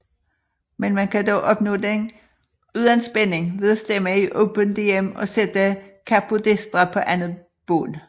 Men man kan dog opnå den uden spænding ved at stemme i Open Dm og sætte capodestra på andet bånd